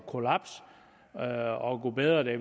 at kollapse og gud bedre det